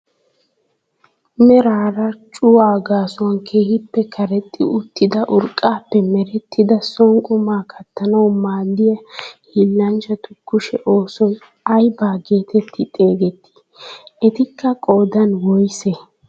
Meraara cuwaa gaasuwan keehippe karexxi uttida urqqaappe merettidi soon qumaa kattanawu maaddiyaa hiillanchchatu kushshe oosoy ayba getetti xegettii? etikka qoodan woysee?